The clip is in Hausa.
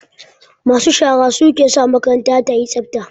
Masu shara su ke sa makaranta yayi tsafta